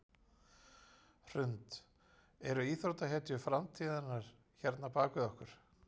Hrund: Eru íþróttahetjur framtíðarinnar hérna bak við okkur?